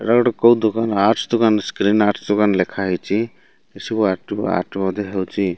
ଏଇଟା ଗୋଟେ କୋଉ ଦୁକାନ ଆର୍ଟ୍ସ୍ ଦୁକାନ ସ୍କ୍ରିନ ଆର୍ଟ୍ସ୍ ଦୋକାନ ଲେଖା ହେଇଚି ଏଠି ସବୁ ଆର୍ଟ ଟୁ ଆର୍ଟ ମଧ୍ୟ ହେଉଚି।